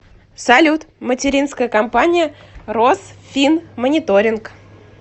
салют материнская компания росфинмониторинг